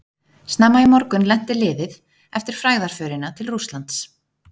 Snemma í morgun lenti liðið eftir frægðarförina til Rússlands.